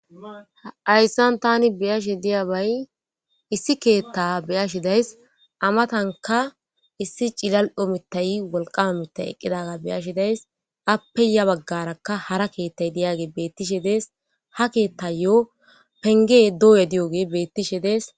hayssan tani beyashe diyabay issi keetta beyashi days amatanka issi cilal omitay wolqama mittay eqqidaga beyashidays appe ya baggarakka hara keettay diyage beettishe dees ha keettayyo penge doye diyoge beettishe dees